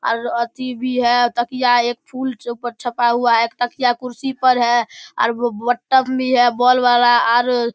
और अथी भी है तकिया एक फूल छ छपा हुआ है एक तकिया कुर्सी पे है आर बटम भी है बोल वाला आर --